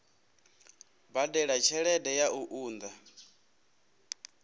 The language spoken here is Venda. badela tshelede ya u unḓa